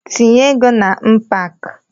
Tinye ego na mbak!